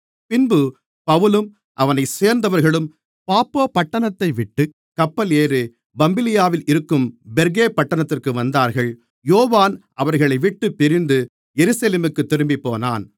பின்பு பவுலும் அவனைச் சேர்ந்தவர்களும் பாப்போ பட்டணத்தைவிட்டுக் கப்பல் ஏறிப் பம்பிலியாவில் இருக்கும் பெர்கே பட்டணத்திற்கு வந்தார்கள் யோவான் அவர்களைவிட்டுப் பிரிந்து எருசலேமுக்குத் திரும்பிப்போனான்